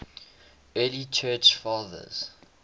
early church fathers